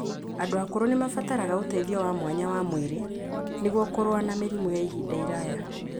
Andũ akũrũ nĩ mabataraga ũteithio wa mwanya wa mwĩrĩ nĩguo kũrũa na mĩrimũ ya ihinda iraya.